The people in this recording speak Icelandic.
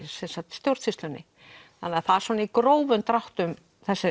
stjórnsýslunni það er í grófum dráttum